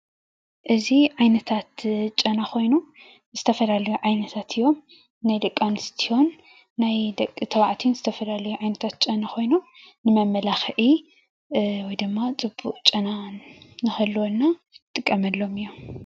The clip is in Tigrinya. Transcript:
እዚ ዓይነታት ጨና ኮይኑ ዝተፈላለዩ ዓይነታት እዮም፡፡ ናይ ደቂ ኣነስትዮን ናይ ደቂ ተባዕትዮን ዝተፈላለዩ ዓይነታት ጨና ኮይኑ ንመማላክዒ ወይ ድማ ፅቡቅ ጨና ንክህልወና እንጥቀመሎም እዮም፡፡